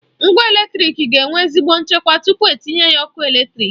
Ngwa eletrịk ga enwe ezigbo nchekwa tupu etinye ya n'ọkụ eletrịk.